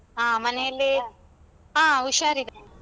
ಹಾ ಮನೆಯಲ್ಲಿ . ಹಾ ಹುಷಾರಿದ್ದಾರೆ.